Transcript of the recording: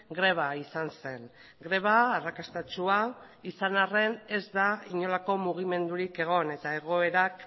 greba izan zen greba arrakastatsua izan arren ez da inolako mugimendurik egon eta egoerak